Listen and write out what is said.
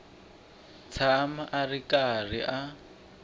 tshama a ri karhi a